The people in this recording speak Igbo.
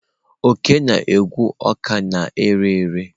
Oke na-egwe ọka na-ere ere.